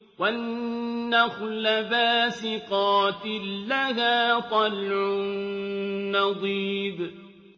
وَالنَّخْلَ بَاسِقَاتٍ لَّهَا طَلْعٌ نَّضِيدٌ